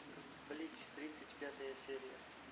блич тридцать пятая серия